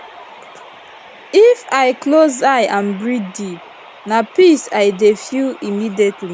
if i close eye and breathe deep na peace i dey feel immediately